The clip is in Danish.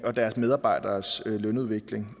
og deres medarbejderes lønudvikling